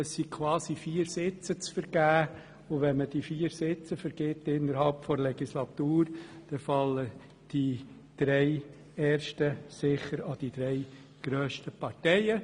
Es sind quasi vier Sitze zu vergeben, und wenn man diese vier Sitze innerhalb der Legislatur vergibt, so fallen die drei ersten sicher an die drei grössten Parteien.